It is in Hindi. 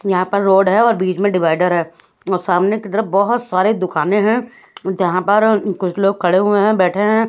यहाँ पर रोड है और बीच में डिभाईडार है और सामने की तरफ बहत सारे दुकाने है जहाँ पर कुछ लोग खड़े हुए है बैठे है--